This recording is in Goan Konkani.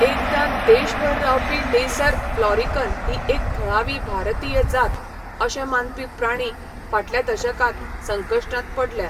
एकदां देशभर रावपी लेसर फ्लॉरिकन ही एक थळावी भारतीय जात अशें मानपी प्राणी फाटल्या दशकांत संकश्टांत पडल्या.